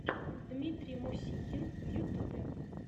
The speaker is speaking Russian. дмитрий мусихин в ютубе